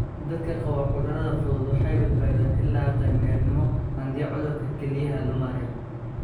Dadka qaba cudurrada fudud waxay badbaadeen ilaa qaan-gaarnimo haddii cudurka kelyaha la maareeyo.